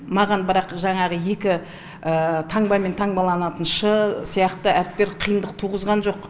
маған бірақ жаңағы екі таңбамен таңбаланатын ш сияқты әріптер қиындық туғызған жоқ